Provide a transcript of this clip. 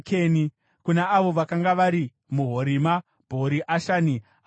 kuna avo vakanga vari muHorima, Bhori Ashani, Ataki